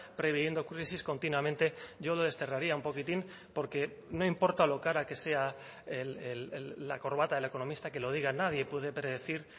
previendo crisis continuamente yo lo desterraría un poquitín porque no importa lo cara que sea la corbata del economista que lo diga nadie puede predecir